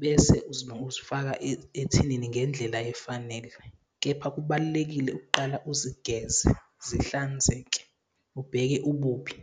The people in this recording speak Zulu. Bese uzifaka ethinini ngendlela efanele, kepha kubalulekile ukuqala uzigeze zihlanzeke, ubheke ububi.